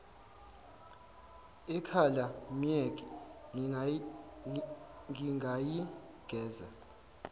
ekhala myeke ngingayigeza